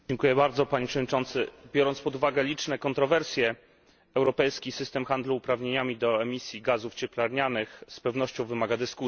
Panie Przewodniczący! Biorąc pod uwagę liczne kontrowersje, europejski system handlu uprawnieniami do emisji gazów cieplarnianych z pewnością wymaga dyskusji.